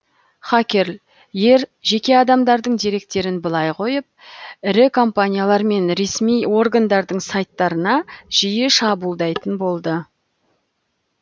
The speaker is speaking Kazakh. хакерл ер жеке адамдардың деректерін былай қойып ірі компаниялар мен ресми органдардың сайттарына жиі шабуылдайтын болды